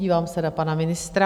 Dívám se na pana ministra .